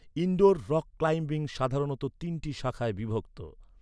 Indoor rock climbing সাধারণত তিনটি শাখায় বিভক্ত।